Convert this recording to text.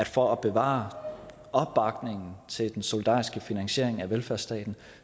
for at bevare opbakningen til den solidariske finansiering af velfærdsstaten